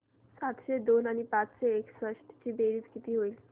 सातशे दोन आणि पाचशे एकसष्ट ची बेरीज किती होईल